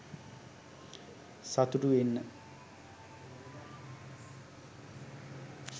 සතුටු වෙන්න